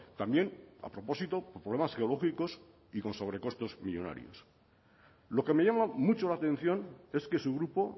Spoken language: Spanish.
también ha propósito problemas geológicos y con sobrecostos millónarios lo que me llama mucho la atención es que su grupo